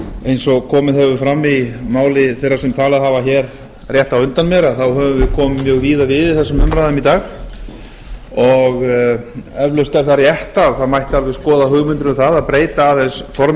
eins og komið hefur fram í máli þeirra sem talað hafa hér rétt á undan mér höfum við komið mjög víða við í þessum umræðum í dag og eflaust er það rétt að það mætti alveg skoða hugmyndir um það að breyta aðeins formi